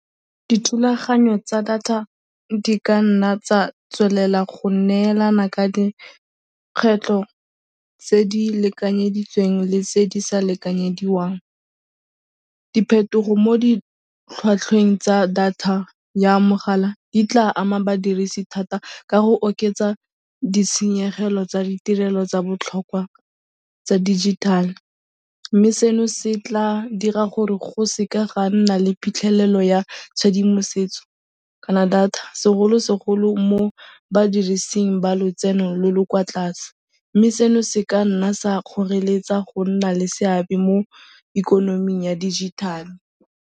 Dithulaganyo tsa data di ka nna tsa tswelela go neelana ka dikgwetlho tse di lekanyeditsweng le tse di sa lekanyediwang. Diphetogo mo ditlhwatlhweng tsa data ya mogala di tla ama badirisi thata ka go oketsa ditshenyegelo tsa ditirelo tsa botlhokwa tsa dijithale mme seno se tla dira gore go seka ga nna le phitlhelelo ya tshedimosetso kana data segolosegolo mo badirising ba lotseno lo lo kwa tlase, mme seno se ka nna sa kgoreletsa go nna le seabe mo ikonoming ya dijithale.